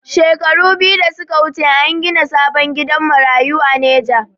Shekaru biyu da suka wuce a gina sabon gidan marayu a neja